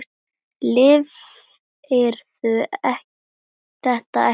Lifirðu þetta ekki af?